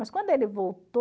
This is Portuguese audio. Mas quando ele voltou...